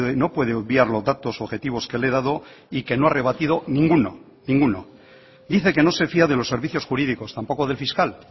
no puede obviar los datos objetivos que le he dado y que no ha rebatido ninguno ninguno dice que no se fía de los servicios jurídicos tampoco del fiscal